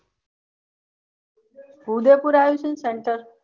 ઉદેયપૂર આવું છે ને center